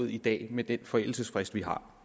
i dag med den forældelsesfrist vi har